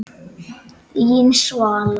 Þín, Svala.